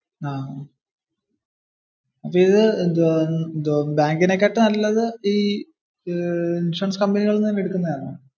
ഇത്, ബാങ്കിനെ കാട്ടും നല്ലത് ഇൻഷുറൻസ് കമ്പനികളിൽ നിന്ന് എടുക്കുന്നതാണോ?